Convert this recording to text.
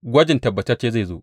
Gwaji tabbatacce zai zo.